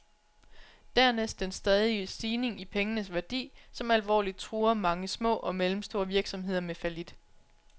Dernæst den stadige stigning i pengenes værdi, som alvorligt truer mange små og mellemstore virksomheder med fallit.